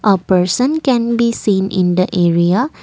a person can be seen in the area.